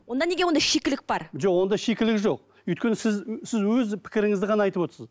онда неге онда шикілік бар жоқ онда шикілік жоқ өйткені сіз сіз өз пікіріңізді ғана айтып отырсыз